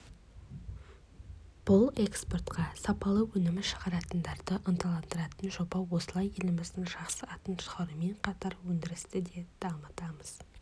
бұл экспортқа сапалы өнім шығаратындарды ынталандыратын жоба осылай еліміздің жақсы атын шығарумен қатар өндірісті де дамытамыз